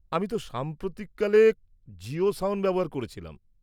আমি তো সাম্প্রতিক কালে জিও সাওন ব্যবহার করেছিলাম।